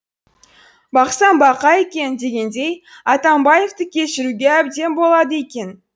бақсам бақа екен дегендей атамбаевты кешіруге әбден болады екен